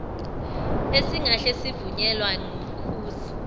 esingahle sivunyelwa ngumkhuzi